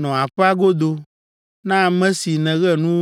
Nɔ aƒea godo! Na ame si nèɣe nu